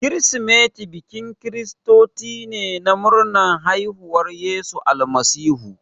Kirsimati bikin kiristoci ne na murnar haifuwar Yesu Almasihu.